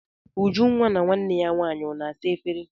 Ujunwa na nwanne ya nwaanyị ọ na-asa efere?